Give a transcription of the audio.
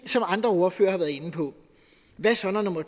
som andre ordførere har været inde på hvad så når nummer